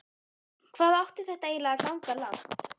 Hvað átti þetta eiginlega að ganga langt?